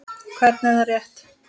Hvernig, er það rétt?